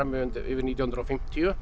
yfir nítján hundruð og fimmtíu